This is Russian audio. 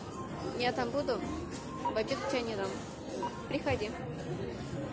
я там буду в обед пионером приходи